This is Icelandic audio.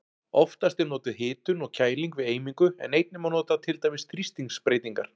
Oftast er notuð hitun og kæling við eimingu en einnig má nota til dæmis þrýstingsbreytingar.